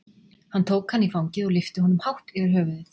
Hann tók hann í fangið og lyfti honum hátt yfir höfuðið.